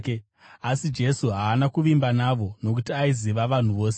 Asi Jesu haana kuvimba navo, nokuti aiziva vanhu vose.